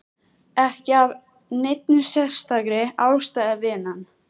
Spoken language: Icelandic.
Ekki af neinni sérstakri ástæðu, vinan.